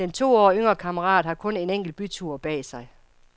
Den to år yngre kammerat har kun en enkelt bytur bag sig.